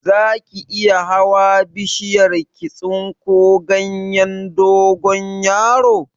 Zaki iya hawa bishiyar ki tsinko ganyen dogonyaro?